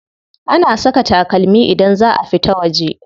Ana saka takalmi idan za a fita waje.